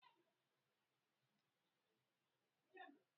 Nke ahụ ọ bụ njikwa Twitter gị?